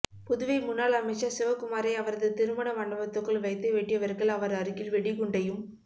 புதுவை முன்னாள் அமிச்சர் சிவகுமாரை அவரது திருமண மண்டபத்துக்குள் வைத்து வெட்டியவர்கள் அவர் அருகில் வெடிகுண்டையும்